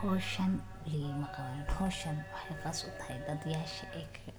Hawshan waligeey ma qawanin. Hawshan waxay gaar u tahay dadyaasha ayaga